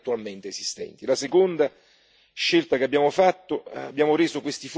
La seconda scelta che abbiamo fatto abbiamo reso questi fondi realmente europei.